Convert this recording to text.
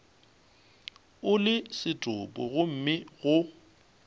o le setopo gomme go